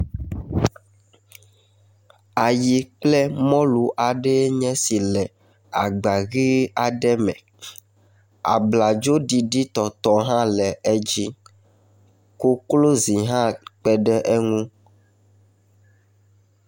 Ayi kple mɔlu aɖee nye esi le agba ʋee aɖe me. Abladzoɖiɖitɔtɔ hã le edzi. Koklozi hã kpe ɖe eŋu.